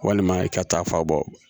Walima i ka taa fa bɔ